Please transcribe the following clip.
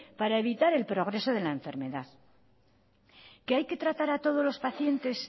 para evitar el progreso de la enfermedad que hay que tratar a todos los pacientes